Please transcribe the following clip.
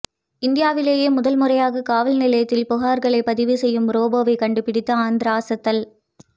இந்தியாவிலேயே முதல் முறையாக காவல் நிலையத்தில் புகார்களை பதிவு செய்யும் ரோபோவை கண்டுபிடித்து ஆந்திரா அசத்தல்